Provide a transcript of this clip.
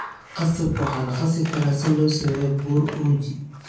Qasabka waxaa la qasi karaa si loo sameeyo bur uji.